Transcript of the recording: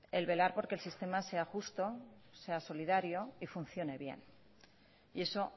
el velar porque el sistema sea justo sea solidario y funcione bien y eso